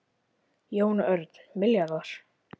Jón Örn: Milljarðar?